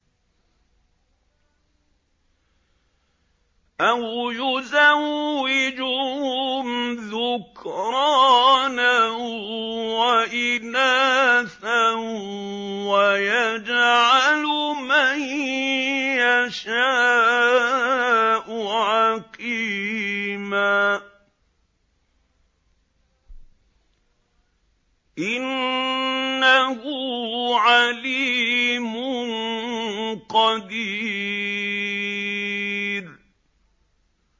أَوْ يُزَوِّجُهُمْ ذُكْرَانًا وَإِنَاثًا ۖ وَيَجْعَلُ مَن يَشَاءُ عَقِيمًا ۚ إِنَّهُ عَلِيمٌ قَدِيرٌ